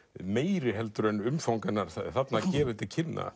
meiri heldur en umfang hennar þarna gefur til kynna